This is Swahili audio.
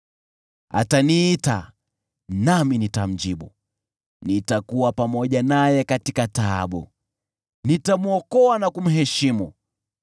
Ataniita, nami nitamjibu; nitakuwa pamoja naye katika taabu, nitamwokoa na kumheshimu.